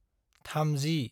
30